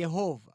Yehova.